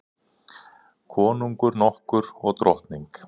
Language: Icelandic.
Konungur nokkur og drottning.